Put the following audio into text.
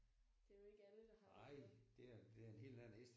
Det er jo ikke alle der har det